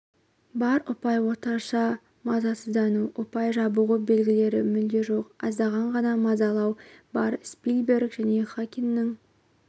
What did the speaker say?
бар ұпай орташа мазасыздану ұпай жабығу белгілері мүлде жоқ аздаған ғана мазалану бар спилберг және ханиннің